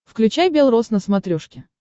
включай белрос на смотрешке